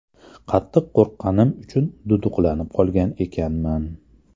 Qattiq qo‘rqqanim uchun duduqlanib qolgan ekanman.